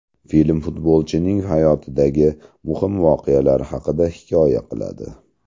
Film futbolchining hayotidagi muhim voqealar haqida hikoya qiladi.